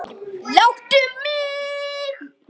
Láttu mig.